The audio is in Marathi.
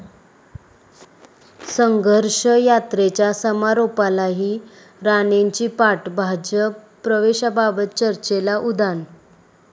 संघर्ष यात्रेच्या समारोपालाही राणेंची पाठ, भाजप प्रवेशाबाबत चर्चेला उधाण